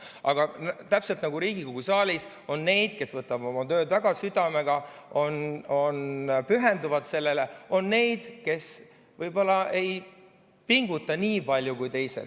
Aga see on täpselt nagu Riigikogu saalis – on neid, kes võtavad oma tööd väga südamega, pühenduvad sellele, ja on neid, kes võib-olla ei pinguta nii palju kui teised.